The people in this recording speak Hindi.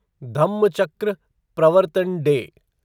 धम्मचक्र प्रवर्तन डे